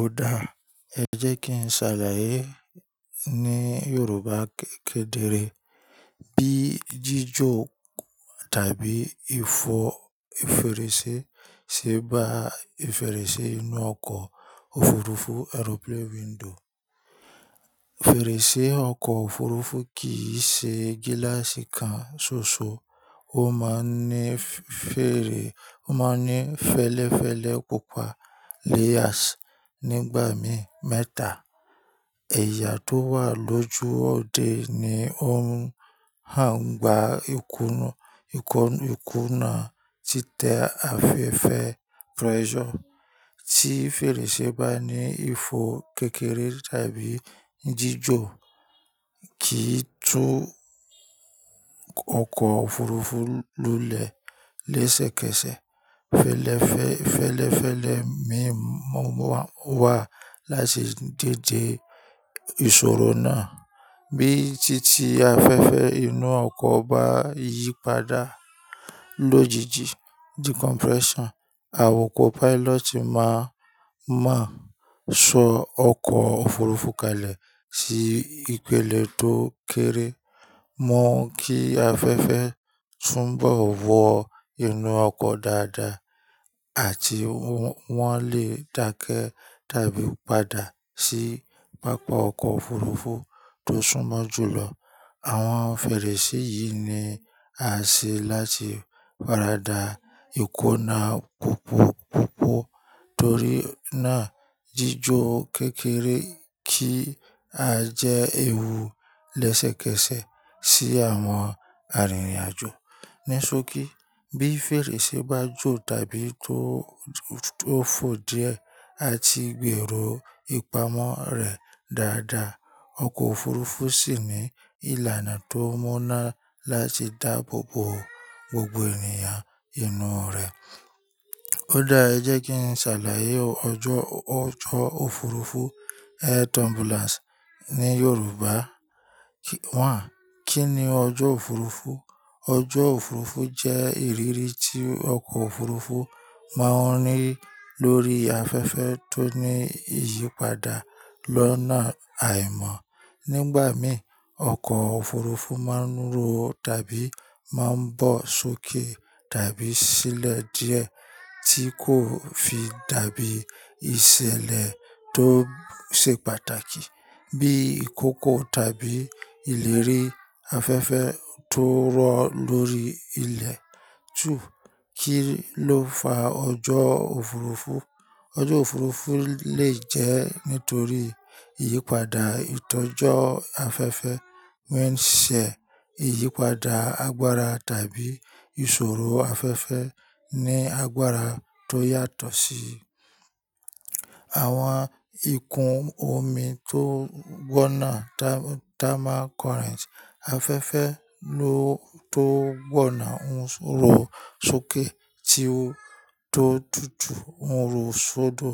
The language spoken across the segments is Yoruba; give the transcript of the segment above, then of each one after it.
Ó dáa, ẹ jẹ́ kí n ṣàlàyé ní Yorùbá kékeré bí jíjò kù tàbí ìfò ìferese ṣe bá ìferese inú ọkọ̀ òfurufú airplane window. Fèrèsé ọkọ̀ òfurufú kì í ṣe gíláàsì kan ṣoṣo, ó máa ń ní fẹ́lẹ́fẹ́lẹ́ púpà layers nígbà mí mẹ́ta. Ẹ̀yà tó wà lójú òde ni ó ń gba ìkùnà títẹ afẹ́fẹ́ pressure. Tí fèrèsé bá ní ìfò kékeré tàbí jíjò kì í tú ọkọ̀ òfurufú lulẹ̀ lẹ́sẹ̀kẹsẹ̀ felefe. Fẹ́lẹ́fẹ́lẹ́ mìíràn wà láti dède ìṣòro náà. Bí títì afẹ́fẹ́ inú ọkọ̀ bá yípadà lójijì decompression, awakọ̀ pilot máa mọ̀ sọ ọkọ̀ òfurufú kalẹ̀ sí ìpele tó kéré mọ́ kí afẹ́fẹ́ túnbọ̀ wọ inú ọkọ̀ dáadáa àti wọ́n lè dákẹ́ tàbí padà sí pápá ọkọ̀ òfurufú tó súnmọ́ jùlọ. Àwọn fèrèsé yìí ni a ṣe láti fàradà ìkùnà púpọ̀púpọ̀ torí náà jíjò kékeré kì í jẹ́ ewu lẹ́sẹ̀kẹsẹ̀ sí àwọn arìnrìn-àjò. Níṣókí, bí fèrèsé bá jò tàbí tó fò díẹ̀, a ti gbèrò ìpamọ́ rẹ̀ dáadáa. Ọkọ̀ òfurufú sì ní ìlànà tó mọ́ náà láti dáàbò bo gbogbo ènìyàn inú rẹ̀. Ó dáa, ẹ jẹ́ kí n ṣàlàyé ọjọ́ òfurufú air turbulence ní Yorùbá. Kí ni ọjọ́ òfurufú? Ọjọ́ òfurufú jẹ́ ìrírí tí ọkọ̀ òfurufú máa ń rí lórí afẹ́fẹ́ tó ní ìyípadà lọ́nà àìmọ́. Nígbà mí, ọkọ̀ òfurufú máa ń ro tàbí máa ń bọ̀ sókè tàbí sílẹ̀ díẹ̀ tí kò fi dàbí ìṣẹ̀lẹ̀. Tó ṣe pàtàkì bí ìkókó tàbí ìlérí afẹ́fẹ́ tó rọ̀ lórí ilẹ̀. Kí ló fa ọjọ́ òfurufú? Ọjọ́ òfurufú lè jẹ́ nítorí ìyípadà ìtọ́jọ́ afẹ́fẹ́ wind shear, ìyípadà àgbára tàbí ìṣòro afẹ́fẹ́ ní àgbára tó yàtọ̀ sí i, àwọn ikùn omi tó gbọ̀nà thermal current, afẹ́fẹ́ lo tó gbọ̀nà ń soro sókè tí ó tó tùtù ń ro sódò,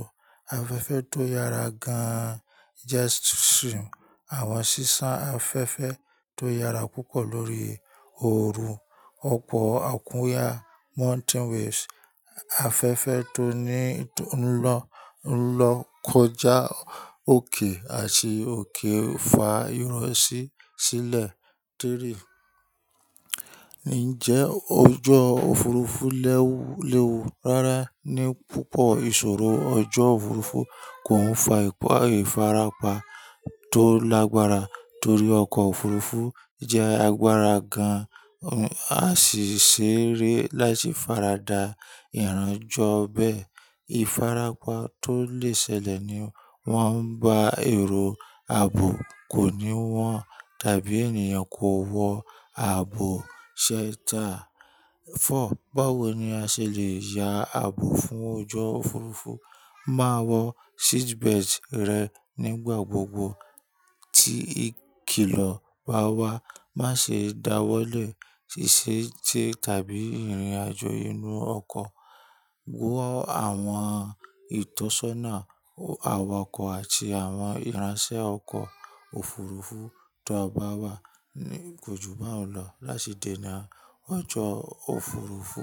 afẹ́fẹ́ tó yára gan jet stream, àwọn sísán afẹ́fẹ́ tó yára púpọ̀ lórí oòru, ọkọ̀ àkúnyà mountain waves, afẹ́fẹ́ tó ń lọ kọjá òkè àti òkè fa ìrọ̀ sí sílẹ̀. Tiri Ǹjẹ́ ọjọ́ òfurufú léwu? Rárá, ní púpọ̀ ìṣòro ọjọ́ òfurufú kò ń fa ìfarapa tó lágbára torí ọkọ̀ òfurufú jẹ́ agbára gan-an àti ṣéré láti fàradà ìranjọ bẹ́ẹ̀. Ìfarapa tó lè ṣẹlẹ̀ ni wọ́n bá èrò ààbò kò ní wọ́n tàbí ènìyàn kò wọ ààbò shelter. Four Báwo ni a ṣe le ya ààbò fún ọjọ́ òfurufú? Máa wọ seatbelt rẹ nígbà gbogbo tí ikìlọ̀ bá wá. Má ṣe dawọ́lẹ̀ ṣíṣe tẹ tàbí ìrìnàjò inú ọkọ̀. Wó àwọn ìtọ́sọ́nà awakọ̀ àti àwọn ìránṣẹ́ ọkọ̀ òfurufú tó bá wà níkojúbàáunlọ̀ láti dènà ọjọ́ òfurufú.